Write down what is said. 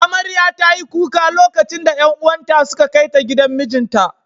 Amarya ta yi kuka lokacin da ’yan uwan ta suka kai ta gidan mijinta.